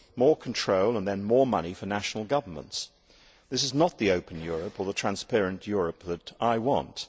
more control and then more money for national governments. This is not the open Europe or the transparent Europe that I want.